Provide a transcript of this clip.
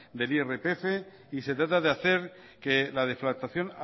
del irpf y se trata de hacer que la deflactación